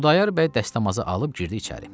Xudayar bəy dəstəmazı alıb girdi içəri.